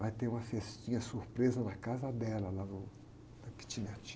Vai ter uma festinha surpresa na casa dela, lá no, na kitnet.